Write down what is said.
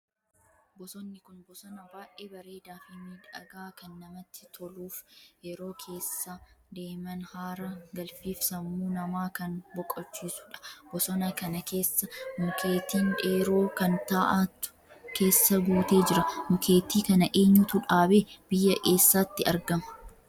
Bosonni kun bosona baay'ee bareedaa Fi miidhagaa kan namatti toluuf yeroo keessa deeman haara galfiif sammuu namaa kan boqochisuudha. bosona kana keessa mukeetii dheeroo kan taa'aatu keessa guutee jira. Mukeetii kana eenyutu dhaabe? Biyya eessaatti argama?